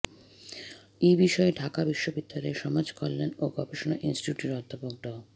এ বিষয়ে ঢাকা বিশ্ববিদ্যালয়ের সমাজকল্যাণ ও গবেষণা ইনস্টিটিউটের অধ্যাপক ড